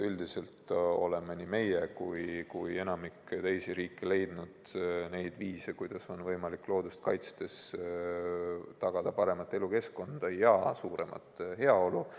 Üldiselt oleme nii meie kui ka enamik teisi riike leidnud neid viise, kuidas on loodust kaitstes võimalik tagada paremat elukeskkonda ja suuremat heaolu.